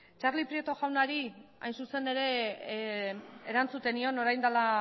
txarli prieto jaunari hain zuzen ere erantzuten nion orain dela